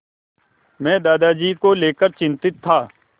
मैं दादाजी को लेकर चिंतित था